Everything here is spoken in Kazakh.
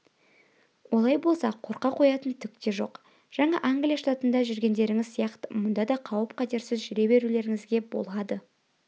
олай болса қорқа қоятын түк те жоқ жаңа англия штатында жүргендеріңіз сияқты мұнда да қауіп-қатерсіз жүре берулеріңізге болады